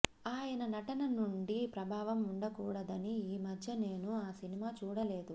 ఆయన నటన నుండి ప్రబావం ఉండకూడదని ఈమధ్య నేను ఆ సినిమా చూడలేదు